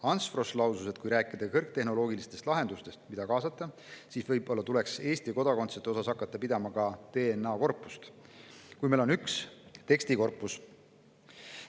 Ants Frosch lausus, et kui rääkida kõrgtehnoloogilistest lahendustest, mida kaasata, siis võib-olla tuleks hakata pidama Eesti kodakondsete DNA‑korpust, samuti nagu meil on tekstikorpus.